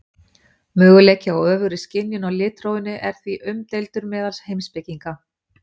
Möguleikinn á öfugri skynjun á litrófinu er því umdeildur meðal heimspekinga.